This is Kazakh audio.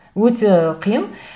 өте қиын